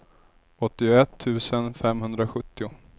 åttioett tusen femhundrasjuttio